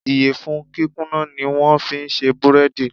Ìyẹ̀fun kíkúnná ni wón fi ń ṣe búrẹ́dì.